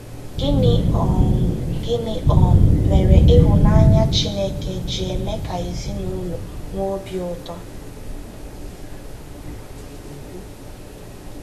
Gịnị um Gịnị um mere ịhụnanya Chineke ji eme ka ezinụlọ nwee obi ụtọ?